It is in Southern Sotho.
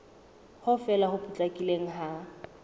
ho fela ho potlakileng ha